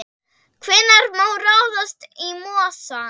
Hvenær má ráðast í mosann?